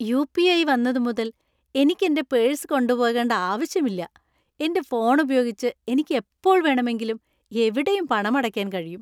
U. P. I. വന്നതുമുതൽ എനിക്ക് എന്‍റെ പേഴ്സ് കൊണ്ടുപോകേണ്ട ആവശ്യമില്ല. എന്‍റെ ഫോൺ ഉപയോഗിച്ച് എനിക്ക് എപ്പോൾ വേണമെങ്കിലും എവിടെയും പണമടയ്ക്കാൻ കഴിയും.